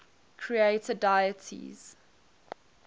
creator deities